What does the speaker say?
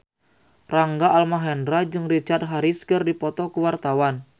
Rangga Almahendra jeung Richard Harris keur dipoto ku wartawan